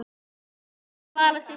Pabbi og Svala systir.